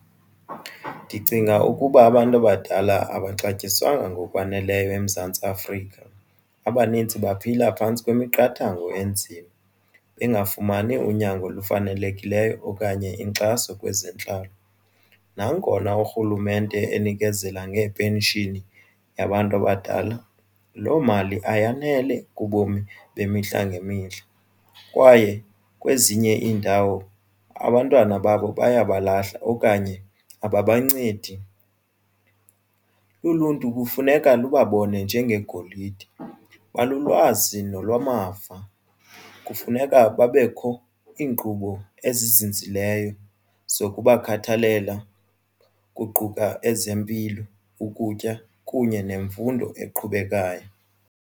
Ndicinga ukuba abantu abadala awaxatyaniswanga ngokwaneleyo eMzantsi Afrika abanintsi baphila phantsi kwemiqathango enzima bengafumani unyango olufanelekileyo okanye inkxaso kwezentlalo. Nangona urhulumente enikezela ngepenshini yabantu abadala loo mali ayanele kubomi bemihla ngemihla. Kwaye kwezinye iindawo abantwana babo baya balahla okanye abancedisi. Uluntu kufuneka lubabone njengegolide, balulwazi nolwamava. Kufuneka babekho iinkqubo ezizinzileyo zokubakhathalela kuquka ezempilo ukutya kunye nemfundo eqhubekayo.